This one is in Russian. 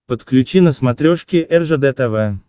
подключи на смотрешке ржд тв